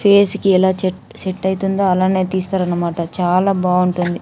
face కి ఎలా చట్ సెట్ అవుతుందో అలాగే తీస్తారు అనమాట చాలా బాగుంటుంది --